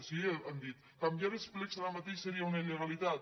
sí han dit canviar els plecs ara mateix seria una il·legalitat